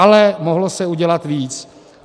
Ale mohlo se udělat více.